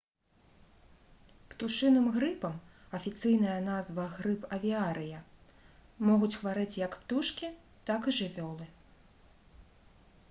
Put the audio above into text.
птушыным грыпам афіцыйная назва — грып авіарыя могуць хварэць як птушкі так і жывёлы